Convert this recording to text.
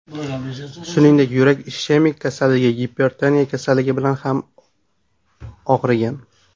Shuningdek, yurak ishemik kasalligi, gipertoniya kasalligi bilan ham og‘rigan.